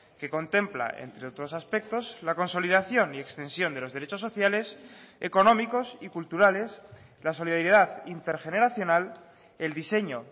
que contempla entre otros aspectos la consolidación y extensión de los derechos sociales económicos y culturales la solidaridad intergeneracional el diseño